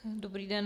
Dobrý den.